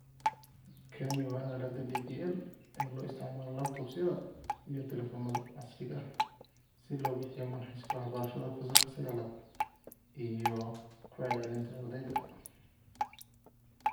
Kani waa aaladda DPL ee loo isticmaalo laptops-yada iyo taleefannada casriga ah si loo bixiyo manhajka waxbarashada Fasalka 9 iyo ku celcelinta ardayda.